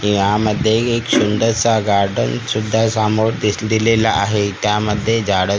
यामध्ये एक सुंदरसा गार्डन सुद्धा सामोर दि दिलेला आहे त्यामध्ये झाडं सुद्धा--